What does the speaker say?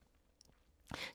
DR K